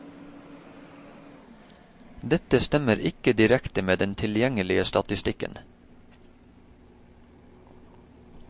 Dette stemmer ikke direkte med den tilgjengelige statistikken.